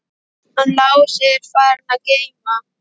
Hann Lási er farinn að geyma.